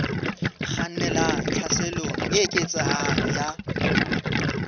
kgannelang tlhaselong e eketsehang ya